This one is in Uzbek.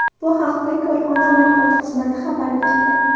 Bu haqda korxona matbuot xizmati xabar berdi .